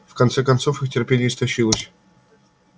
в конце концов их терпение истощилось